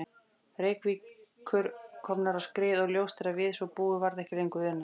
Reykjavíkur komnar á skrið og ljóst að við svo búið varð ekki lengur unað.